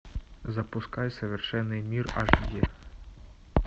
запускай совершенный мир аш ди